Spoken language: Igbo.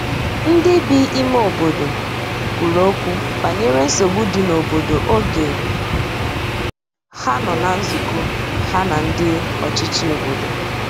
ndi bi ime obodo kwuru okwu banyere nsogbu di n'obodo oge ha nọ na nzukọ ha na ndi ọchichi obodo